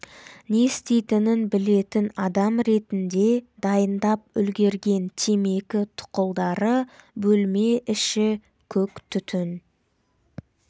не істейтінін білетін адам ретінде дайындап үлгерген темекі тұқылдары бөлме іші көк түтін